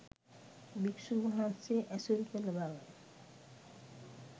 භික්‍ෂූන් වහන්සේ ඇසුරු කළ බව